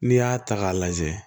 N'i y'a ta k'a lajɛ